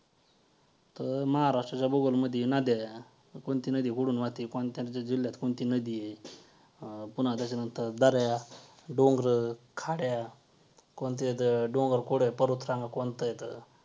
जेणेकरून ज्या प्रत्येक गोष्टी आहेत त्या आपल्यासाठीच रुचलेल्या आहेत आपल्या भल्यासाठीच केलेल्या आहेत.